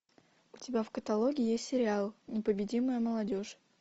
у тебя в каталоге есть сериал непобедимая молодежь